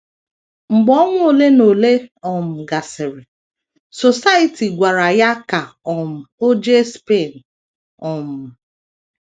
Mgbe ọnwa ole na ole um gasịrị, Society gwara ya ka um o jee Spain. um